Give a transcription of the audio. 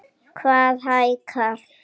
Hvað hækkar?